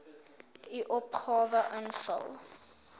u opgawe invul